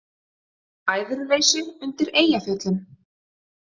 Æðruleysi undir Eyjafjöllum